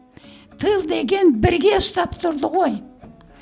тыл деген бірге ұстап тұрды ғой